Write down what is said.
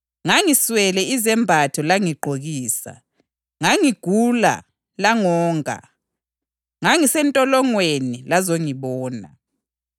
Ngoba ngangilambile, langinika ulutho oludliwayo, ngangomile langipha okunathwayo, ngangiyisihambi langinxusela endlini,